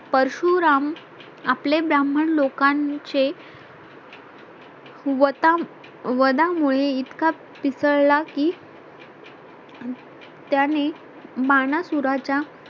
परशुराम आपले ब्राह्मण लोकांचे. वता वधामुळे इतका पिसळला की त्यांनी मानासुराच्या